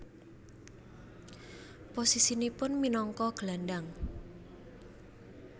Posisinipun minangka gelandang